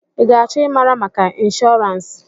I ga-achọ ịmara maka inshọrans?